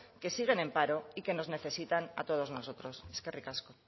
que siguen en paro y que nos necesitan a todos nosotros eskerrik asko